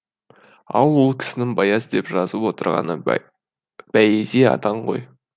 ал ол кісінің баяз деп жазып отырғаны бәйези атаң ғой